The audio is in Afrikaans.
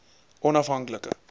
onafhanklike